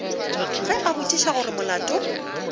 ge a botšiša gore molato